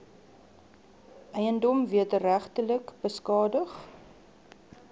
eiendom wederregtelik beskadig